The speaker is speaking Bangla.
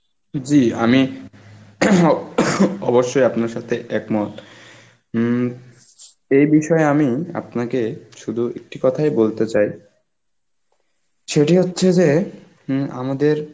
জি আমি অবশ্যই আপনার সাথে একমত. হম এই বিষয়ে আমি আপনাকে শুধু একটি কথাই বলতে চাই, সেটি হচ্ছে যে হম আমাদের